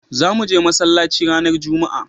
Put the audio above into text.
za muje masallaci ranar jumma'a